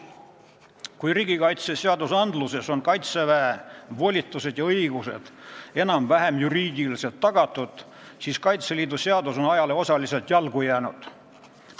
Kui Kaitseväe volitused ja õigused on riigikaitseseadustes juriidiliselt enam-vähem tagatud, siis Kaitseliidu seadus on ajale osaliselt jalgu jäänud.